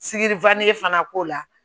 Sikiri fana k'o la